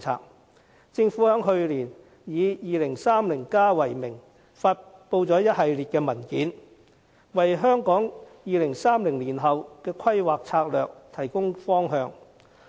去年，政府以《香港 2030+》為名，發布一系列文件，為香港2030年後的規劃策略提供方向。